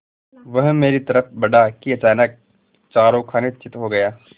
वह मेरी तरफ़ बढ़ा कि अचानक चारों खाने चित्त हो गया